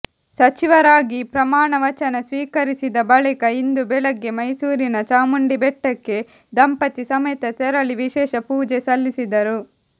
ಸಚಿವರಾಗಿ ಪ್ರಮಾಣ ವಚನ ಸ್ವೀಕರಿಸಿದ ಬಳಿಕ ಇಂದು ಬೆಳಗ್ಗೆ ಮೈಸೂರಿನ ಚಾಮುಂಡಿಬೆಟ್ಟಕ್ಕೆ ದಂಪತಿ ಸಮೇತ ತೆರಳಿ ವಿಶೇಷ ಪೂಜೆ ಸಲ್ಲಿಸಿದರು